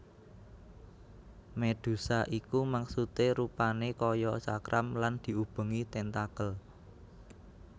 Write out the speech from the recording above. Médhusa iku maksudé rupané kaya cakram lan diubengi tentakel